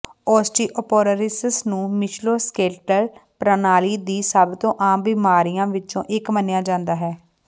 ਓਸਟੀਓਪਰੋਰਿਸਸ ਨੂੰ ਮਿਸ਼ੂਲੋਸਕਲੇਟਲ ਪ੍ਰਣਾਲੀ ਦੇ ਸਭ ਤੋਂ ਆਮ ਬਿਮਾਰੀਆਂ ਵਿੱਚੋਂ ਇੱਕ ਮੰਨਿਆ ਜਾਂਦਾ ਹੈ